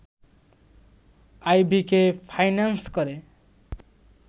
আইভীকে finance করে